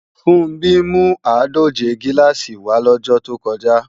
Funbí mú àádòje gíláàsì wá lọ́jọ́ tó kọjá